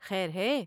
خیر ہے ؟